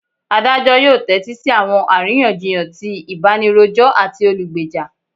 Adajọ yoo tẹtisi awọn ariyanjiyan ti ibanirojọ ati olugbeja.